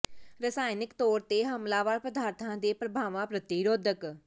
ਰਸਾਇਣਕ ਤੌਰ ਤੇ ਹਮਲਾਵਰ ਪਦਾਰਥਾਂ ਦੇ ਪ੍ਰਭਾਵਾਂ ਪ੍ਰਤੀ ਰੋਧਕ